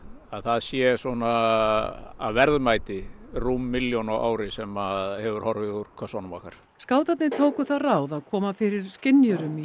að það sé svona að verðmæti rúm milljón á ári sem hefur horfið úr kössunum okkar skátarnir tóku það ráð að koma fyrir skynjurum í